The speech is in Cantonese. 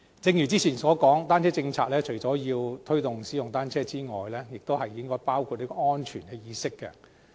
正如之前所說，單車友善政策除了推動使用單車之外，也應該包括推動安全意識。